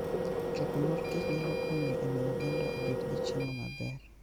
Choko mor kich nyalo konyo e miyo oganda obed gi chiemo maber.